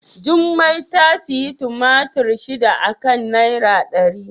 Jummai ta sayi tumatur shida a kan naira dari.